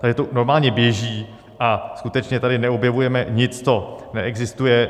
Takže to normálně běží a skutečně tady neobjevujeme nic, co neexistuje.